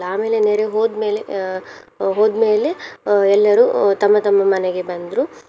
ಆಮೇಲೆ ನೆರೆ ಹೋದ್ಮೇಲೆ ಅಹ್ ಹೋದ್ಮೇಲೆ ಅಹ್ ಎಲ್ಲರು ತಮ್ಮ ತಮ್ಮ ಮನೆಗೆ ಬಂದ್ರು.